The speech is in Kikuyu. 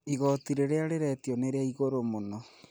Igoti rĩrĩa rĩretio nĩ rĩa igũrũ mũno